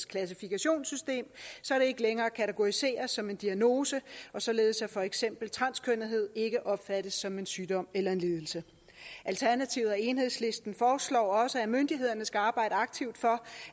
klassifikationssystem så det ikke længere kategoriseres som en diagnose og således at for eksempel transkønnethed ikke opfattes som en sygdom eller lidelse alternativet og enhedslisten foreslår også at myndighederne skal arbejde aktivt for